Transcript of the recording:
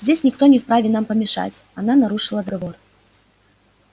здесь никто не вправе нам помешать она нарушила договор